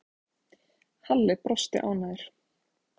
Halli brosti ánægður.